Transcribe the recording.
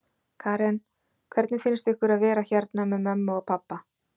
Karen: Hvernig finnst ykkur að vera hérna með mömmu og pabba?